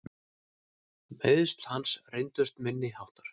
Meiðsl hans reyndust minni háttar.